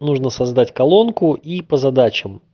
нужно создать колонку и по задачам